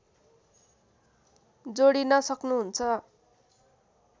जोडिन सक्नुहुन्छ